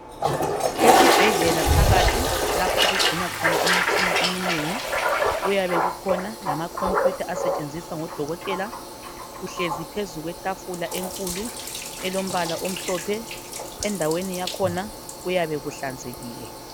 Esibhedlela phakathi lapho okugcinwa khona imitshina eminengi kuyabe kukhona lamacomputer asetshenziswa ngodokotela uhlezi phezu kwetafula enkulu elombala omhlophe endaweni yakhona kuyabe kuhlanzekile